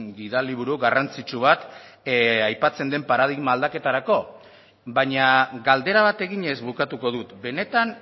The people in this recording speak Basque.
gida liburu garrantzitsu bat aipatzen den paradigma aldaketarako baina galdera bat eginez bukatuko dut benetan